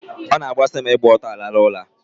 Ọ na-amasị m ịgba ọtọ rahụ ụra.